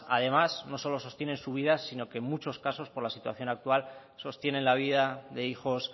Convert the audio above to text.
no solo sostienen su vida sino que en muchos casos por la situación actual sostienen la vida de hijos